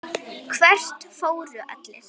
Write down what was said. Hvert fóru allir?